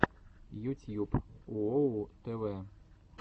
ютьюб уоу тв